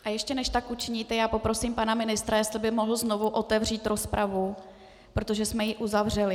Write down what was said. A ještě než tak učiníte, já poprosím pana ministra, jestli by mohl znovu otevřít rozpravu, protože jsme ji uzavřeli.